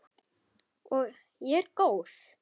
Og ég er góð.